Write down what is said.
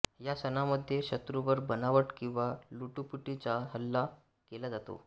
या सणामध्ये शत्रूवर बनावट किंवा लुटूपुटीचा हल्ला केला जातो